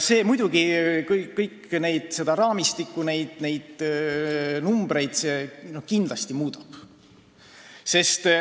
See muidugi kogu seda raamistikku ja neid numbreid muudab.